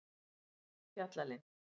Fjallalind